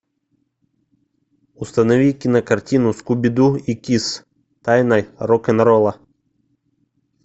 установи кинокартину скуби ду и кисс тайна рок н ролла